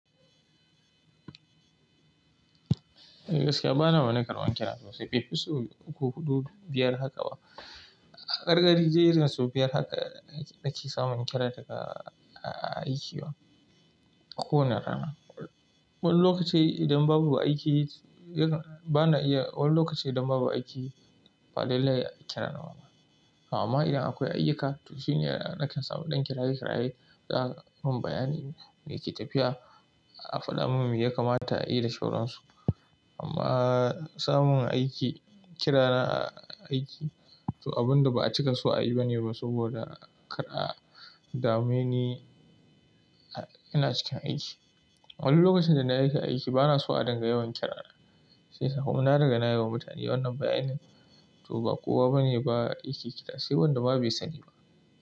Gaskiya ba na wani karban kira sosai bai fi so uku, hudu, biyar haka ba. Karkari dai irin sau biyar haka nake samun kira daga aiki ba, a ko wani rana. Wani lokaci idan babu aiki, yana bana iya, wani lokaci idan babu aiki ba lallai a kira na ma. Amma idan akwai ayyuka, to shine nake samu ɗan kiraye kiraye da za a mun bayanin me ke tafiya, a faɗa mun me ya kamata a yi da sauwaran su. Amma samun aiki kira aiki to abun da ba a cika so a yi bane ba saboda kar a dame ni ina cikin aiki. Wani lokacin da nake aiki bana so a dinga yawan kira na. Sai sa kuma na riga nayi wa mutane wannan bayanin. To ba kowa bane ba yake kira sai wanda ma bai sa ni ba.